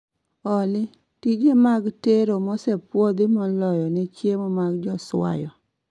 Olly tije mag tero mosepuodhi moloyo ne chiemo mag joswayo